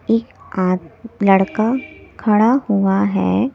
एक आद- लड़का खड़ा हुआ है।